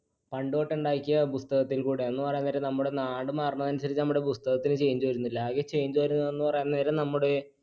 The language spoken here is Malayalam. പണ്ടുതൊട്ട് ഉണ്ടാക്കിയ പുസ്തകത്തിൽ കൂടെ പറയാൻ നേരം നമ്മുടെ നാട് മാറണത്തിനുസരിച്ച് നമ്മുടെ പുസ്തകത്തിന് change വരുന്നില്ല. ആകെ change വരുന്നതെന്ന് പറയാൻ നേരം നമ്മുടെ